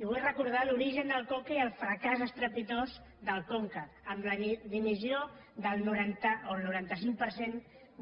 i vull recordar l’ori·gen del conca i el fracàs estrepitós del conca amb la dimissió del noranta o el noranta cinc per cent